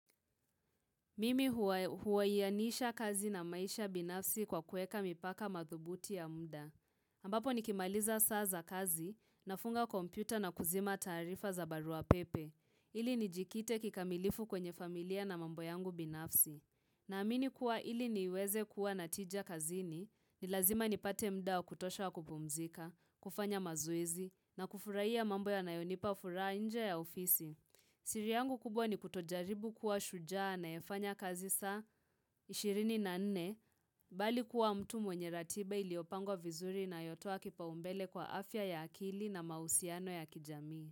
Mimi huwaiyanisha kazi na maisha binafsi kwa kuweka mipaka madhubuti ya muda. Ambapo nikimaliza saa za kazi, nafunga kompyuta na kuzima taarifa za barua pepe. Ili nijikite kikamilifu kwenye familia na mambo yangu binafsi. Na amini kuwa ili niweze kuwa natija kazini, ni lazima nipate mda kutosha kupumzika, kufanya mazoezi, na kufurahai ya mambo ya nayonipa furaha nje ya ofisi. Siri yangu kubwa ni kutojaribu kuwa shujaa anayefanya kazi saa ishiri na nne bali kuwa mtu mwenye ratiba iliyopango vizuri inayotoa kipaumbele kwa afya ya akili na mahusiano ya kijamii.